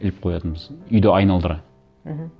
іліп қоятынбыз үйді айналдыра мхм